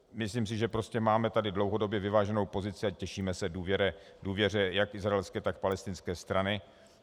Myslím si, že prostě máme tady dlouhodobě vyváženou pozici a těšíme se důvěře jak izraelské, tak palestinské strany.